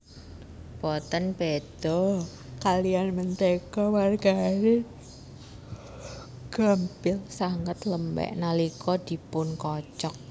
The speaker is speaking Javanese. Boten béda kaliyan mentéga margarin gampil sanget lembek nalika dipunkocok